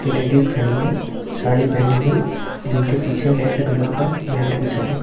की लेडीज खड़ी हैं साड़ी पहनी हुई जिनके पीछे रेड कलर का मैट बिछा हुआ --